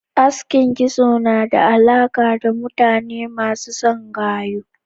Aski kitso na da alaka da mutane masu son gayu.